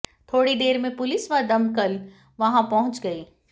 थोड़ी देर में पुलिस व दमकल वहां पहुंच गई